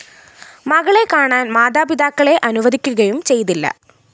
മകളെ കാണാന്‍ മാതാപിതാക്കളെ അനുവദിക്കുകയും ചെയ്തില്ല